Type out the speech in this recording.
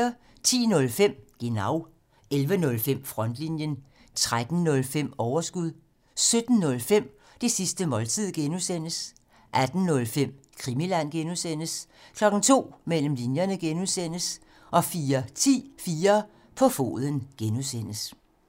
10:05: Genau 11:05: Frontlinjen 13:05: Overskud 17:05: Det sidste måltid (G) 18:05: Krimiland (G) 02:00: Mellem linjerne (G) 04:10: 4 på foden (G)